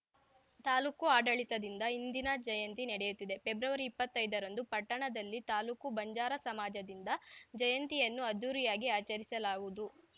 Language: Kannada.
ತಾಲೂಕು ಆಡಳಿತದಿಂದ ಇಂದಿನ ಜಯಂತಿ ನಡೆಯುತ್ತಿದೆ ಫೆಬ್ರವರಿ ಇಪ್ಪತ್ತೈದರಂದು ಪಟ್ಟಣದಲ್ಲಿ ತಾಲೂಕು ಬಂಜಾರ ಸಮಾಜದಿಂದ ಜಯಂತಿಯನ್ನು ಅದ್ಧೂರಿಯಾಗಿ ಆಚರಿಸಲಾಗುವುದು